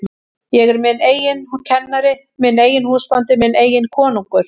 Ég er minn eigin kennari, minn eigin húsbóndi, minn eigin konungur.